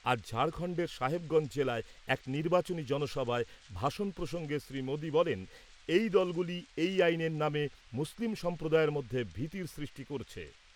আজ ঝাড়খণ্ডের সাহেবগঞ্জ জেলায় এক নির্বাচনী জনসভায় ভাষণ প্রসঙ্গে শ্রীমোদি বলেন এই দলগুলি এই আইনের নামে মুসলিম সম্প্রদায়ের মধ্যে ভীতির সৃষ্টি করছে।